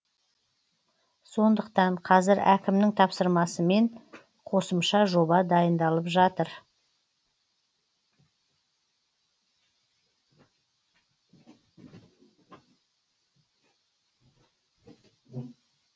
сондықтан қазір әкімнің тапсырмасымен қосымша жоба дайындалып жатыр